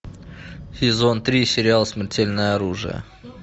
сезон три сериал смертельное оружие